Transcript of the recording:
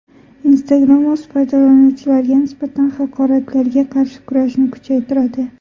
Instagram o‘z foydalanuvchilariga nisbatan haqoratlarga qarshi kurashni kuchaytiradi.